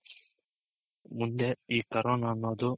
ಮುಂದೆ ಈ corona ಅನ್ನೋದು